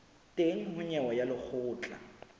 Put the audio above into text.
teng ho nyewe ya lekgotla